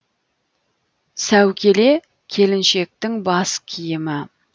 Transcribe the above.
сәукеле келіншектің бас киімі